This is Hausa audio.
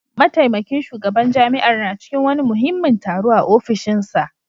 Mataimakin shugaban jami'ar na cikin wani muhimmin taro a ofishinsa